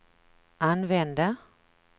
använde